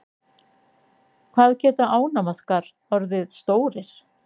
Hvað geta ánamaðkar orðið stórir?